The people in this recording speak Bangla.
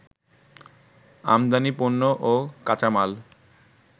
আমদানি পণ্য ও কাঁচামাল